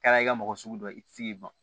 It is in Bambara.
Kɛra i ka mɔgɔ sugu dɔ ye i ti se k'i ban